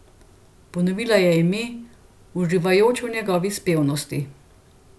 Ponovila je ime, uživajoč v njegovi spevnosti.